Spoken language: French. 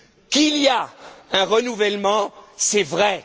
Qu'il y ait un renouvellement, c'est vrai.